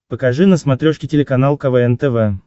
покажи на смотрешке телеканал квн тв